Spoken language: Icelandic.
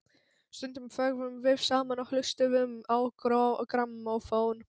Stundum þögðum við saman og hlustuðum á grammófón.